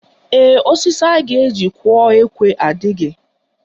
Ee, osisi a ga-eji kụọ ekwe a adịghị